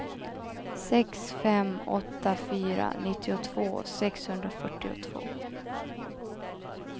sex fem åtta fyra nittiotvå sexhundrafyrtiotvå